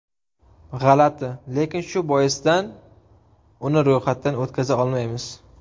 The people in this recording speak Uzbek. G‘alati, lekin shu boisdan uni ro‘yxatdan o‘tkaza olmaymiz.